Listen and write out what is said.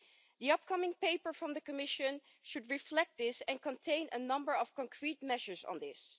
The upcoming paper from the Commission should reflect this and contain a number of concrete measures on this.